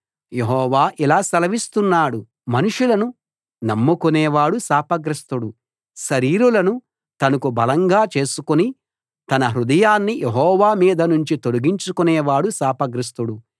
యెహోవా ఇలా సెలవిస్తున్నాడు మనుషులను నమ్ముకునేవాడు శాపగ్రస్తుడు శరీరులను తనకు బలంగా చేసుకుని తన హృదయాన్ని యెహోవా మీదనుంచి తొలగించుకునేవాడు శాపగ్రస్తుడు